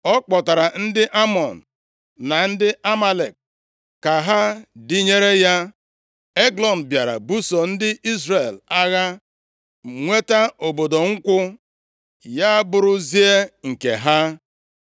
Ọ kpọtara ndị Amọn + 3:13 Ndị Amọn bụ ndị si nʼagbụrụ Lọt, nke a dị nʼakwụkwọ \+xt Jen 19:38\+xt*, ebe ndị Amalek si nʼagbụrụ Ịsọ (ị ga-agụta nke a nʼakwụkwọ \+xt Jen 36:12,16\+xt*). Ọ bụghị naanị na ha bụ ndị agbataobi ndị Izrel, ma ha bụ ndị iro ka ndị iro niile nke ndị Izrel nwere (gụọ \+xt Dit 25:17-18\+xt*). na ndị Amalek ka ha dịnyere ya. Eglọn bịara buso ndị Izrel agha, nweta obodo Nkwụ, ya abụrụzia nke ha.